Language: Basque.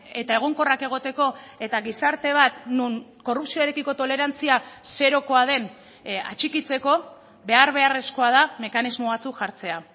eta egonkorrak egoteko eta gizarte bat non korrupzioarekiko tolerantzia zerokoa den atxikitzeko behar beharrezkoa da mekanismo batzuk jartzea